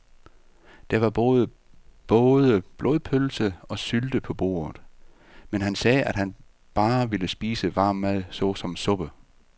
Der var både blodpølse og sylte på bordet, men han sagde, at han bare ville spise varm mad såsom suppe.